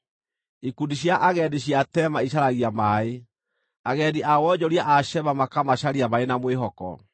Ikundi cia agendi cia Tema icaragia maaĩ, agendi a wonjoria a Sheba makamacaria marĩ na mwĩhoko.